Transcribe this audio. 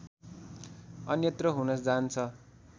अन्यत्र हुन जान्छ